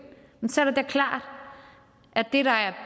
så er det da klart at det der er